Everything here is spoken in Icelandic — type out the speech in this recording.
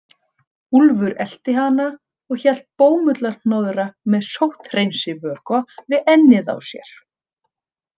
Úlfur elti hana og hélt bómullarhnoðra með sótthreinsivökva við ennið á sér.